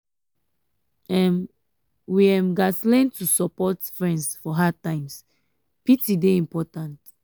um we um gats learn to support um friends for hard times; pity dey important.